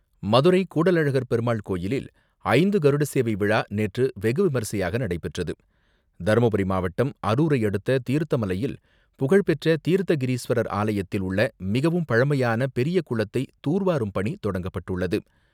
மதுரை கூடலழகர் பெருமாள் கோயிலில் ஐந்து கருட சேவை விழா நேற்று வெகுவிமரிசையாக நடைபெற்றது. தருமபுரி மாவட்டம் அருரை அடுத்த தீர்த்தமலையில் புகழ்பெற்ற தீர்த்த கிரீஸ்வரர் ஆலயத்தில் உள்ள மிகவும் பழமையான பெரிய குளத்தை துார்வாறும் பணி தொடங்கப்பட்டுள்ளது.